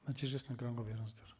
нәтижесін экранға беріңіздер